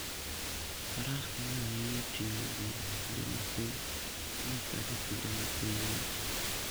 Faras konyo ahinya e ting'o ji e kinde ma piny ng'ich kata e kinde ma piny ng'ich.